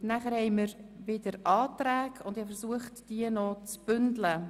Nun liegen wieder Anträge vor, und ich möchte sie bündeln.